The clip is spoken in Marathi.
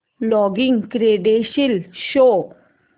लॉगिन क्रीडेंशीयल्स शोध